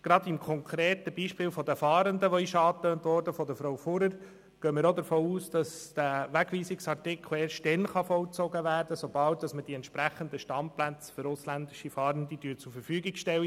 Gerade im konkreten Beispiel der Fahrenden, das von Frau Fuhrer-Wyss angetönt wurde, gehen wir davon aus, dass der Wegweisungsartikel erst dann vollzogen werden kann, wenn wir im Kanton Bern die entsprechenden Standplätze für ausländische Fahrende zur Verfügung stellen.